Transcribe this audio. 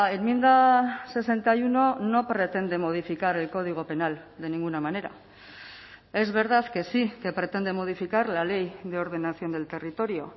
enmienda sesenta y uno no pretende modificar el código penal de ninguna manera es verdad que sí que pretende modificar la ley de ordenación del territorio